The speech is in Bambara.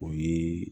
O ye